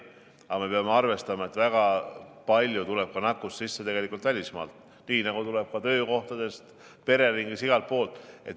Aga me peame arvestama, et väga palju tuleb ka nakkust sisse välismaalt, nii nagu tuleb ka töökohtadest, pereringis ja igalt poolt.